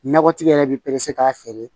Nakɔtigi yɛrɛ bɛ k'a feere